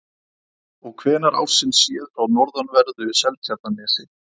Og hvenær ársins séð frá norðanverðu Seltjarnarnesi?